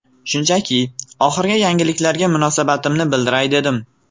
Shunchaki, oxirgi yangiliklarga munosabatimni bildiray dedim.